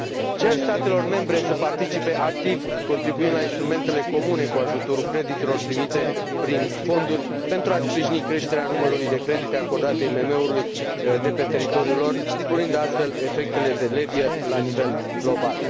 Cer statelor membre să participe activ, contribuind la instrumentele comune cu ajutorul creditelor primite prin fonduri, pentru a sprijini creșterea numărului de credite acordate IMM urilor de pe teritoriul lor, sporind astfel efectele de levier la nivel global.